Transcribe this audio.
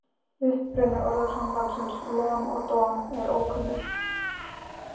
Uppruni orðasambandsins lon og don er ókunnur.